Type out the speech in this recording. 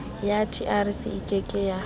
ya trc e ke ke